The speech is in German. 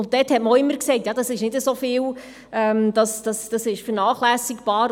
Da hat man auch immer gesagt: «Ja, das ist nicht so viel, das ist vernachlässigbar.